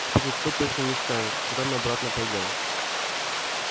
теперь никто точно не скажет когда мы обратно пойдём